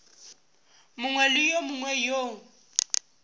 mongwe le yo mongwe yo